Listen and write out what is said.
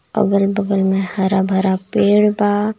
अगल बगल में हरा भरा पेड़ बा।